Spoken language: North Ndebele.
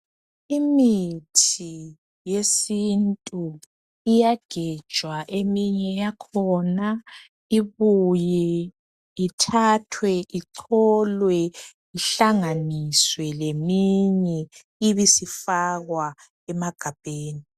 Imithi yesintu iyagejwa, eminye yakhona ibuye ithathwe icholwe ihlanganiswe leminye ibisifakwa emagabheni.